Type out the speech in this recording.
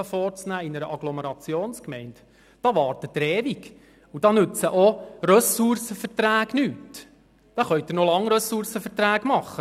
Da warten Sie ewig, und da nützen auch Ressourcenverträge nichts.